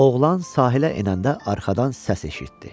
Oğlan sahilə enəndə arxadan səs eşitdi.